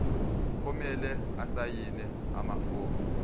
kumele asayine amafomu